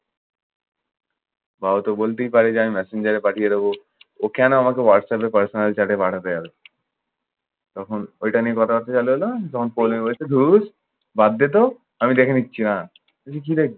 বা ওতো বলতেই পারে যে আমি messenger এ পাঠিয়ে দেব। ও কেনো আমাকে হোয়াটঅ্যাপে personal chat এ পাঠাতে যাবে? তখন ওইটা নিয়ে কথাবার্তা চালু হলো তখন বলছে ধুস বাদ দে তো। আমি দেখে নিচ্ছে হ্যাঁ। আমি বলছি, কি দেখবি?